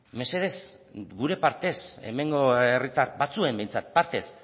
mesedez gure partez hemengo herritar batzuen behintzat partez